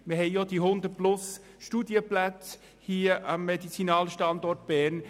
Wir haben auch die 100 zusätzlichen Studienplätze hier am Medizinalstandort Bern.